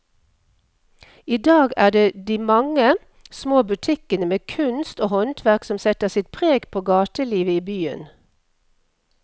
I dag er det de mange små butikkene med kunst og håndverk som setter sitt preg på gatelivet i byen.